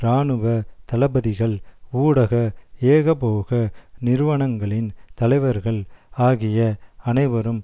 இராணுவ தளபதிகள் ஊடக ஏகபோக நிறுவனங்களின் தலைவர்கள் ஆகிய அனைவரும்